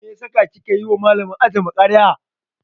Mene ya saka kika yiwa Malamin ajinmu karya?